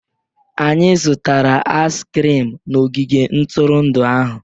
Anyị zụtara aizi krim n'ogige ntụrụndụ ahụ